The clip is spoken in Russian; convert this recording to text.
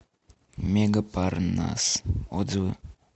мега парнас отзывы